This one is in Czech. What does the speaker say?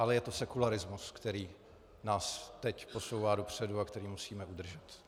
Ale je to sekularismus, který nás teď posouvá dopředu a který musíme udržet.